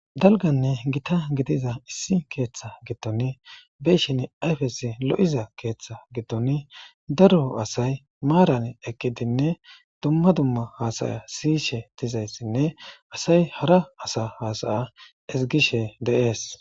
dalganne gita gidiza issi keeththa gitton beshin ayfesi lo7iza keeththa gittoni daro asay maaran eqqidinne dumma dumma haasaya siyishe dizayssinne asay hara asa haasaya ezgishe de'ees